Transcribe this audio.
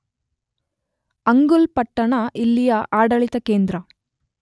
ಅಂಗುಲ್ ಪಟ್ಟಣ ಇಲ್ಲಿಯ ಆಡಳಿತ ಕೇಂದ್ರ.